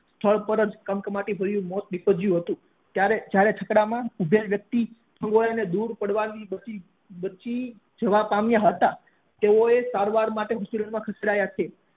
સ્થળ પર જ કમ કમાટી મોત નીપજ્યું હતું ત્યારે છકડા માં ઉભેલ વ્યક્તિ થોડું દુર પડવાથી બચી જવા પામ્યા હતા તેઓ સારવાર માટે નજીક ના દવાખાના એ ખસેડ્યા છે